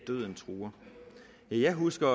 døden truer jeg husker